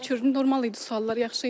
Şükür, normal idi suallar, yaxşı idi.